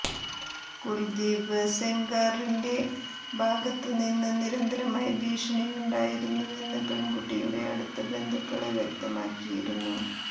കുൽദീപ് സെംഗാറിന്റെ ഭാഗത്ത് നിന്ന് നിരന്തരമായി ഭീഷണിയുണ്ടായിരുന്നുവെന്ന് പെണ്കുട്ടിയുടെ അടുത്ത ബന്ധുക്കള് വ്യക്തമാക്കിയിരുന്നു